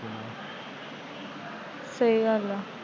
ਸਹੀ ਗੱਲ ਏ।